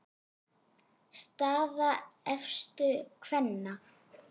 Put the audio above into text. Staða efstu kvenna